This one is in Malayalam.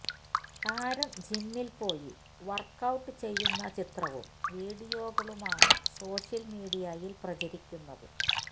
താരം ജിമ്മിൽ പോയി വർക്ക്ഔട്ട് ചെയ്യുന്ന ചിത്രവും വീഡിയോകളുമാണ് സോഷ്യൽ മീഡിയയിൽ പ്രചരിക്കുന്നത്